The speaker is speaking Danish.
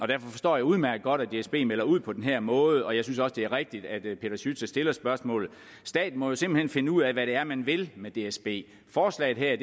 derfor forstår jeg udmærket godt at dsb melder ud på den her måde og jeg synes også det er rigtigt at peter schütze stiller spørgsmålet staten må jo simpelt hen finde ud af hvad det er man vil med dsb forslaget her